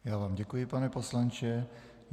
Já vám děkuji, pane poslanče.